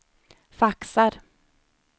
faxar